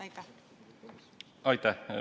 Aitäh!